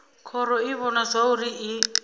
khoro i vhona zwauri i